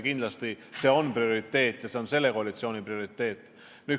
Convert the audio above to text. Kindlasti see on prioriteet, on ka selle koalitsiooni prioriteet.